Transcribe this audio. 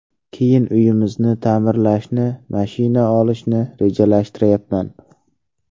Keyin uyimizni ta’mirlashni, mashina olishni rejalashtiryapman.